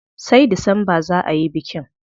Sai Disamba za ayi bikin.